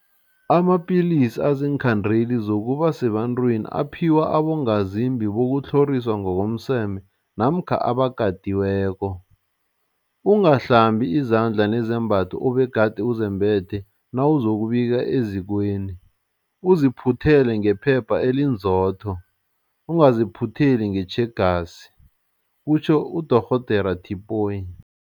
Amapilisi aziinkhandeli zokuba sebantwini aphiwa abongazimbi bokutlhoriswa ngokomseme namkha abakatiweko. Ungahlambi izandla nezembatho obegade uzembethe nawuzokubika ezikweni, uziphuthele ngephepha elinzotho, ungaziphutheli ngetjhegasi kutjho uDorh Tipoy.